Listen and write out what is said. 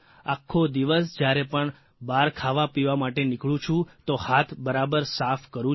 આખો દિવસ જયારે પણ બહાર ખાવાપીવા માટે નીકળું છું તો હાથ બરાબર સાફ કરું છું